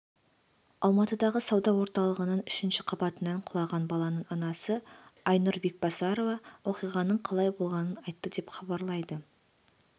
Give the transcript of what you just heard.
алматыдағы сауда орталығының үшінші қабатынан құлаған баланың анасы айнұр бекбасарова оқиғаның қалай болғанын айтты деп хабарлайды